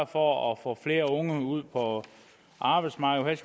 for at få flere unge ud på arbejdsmarkedet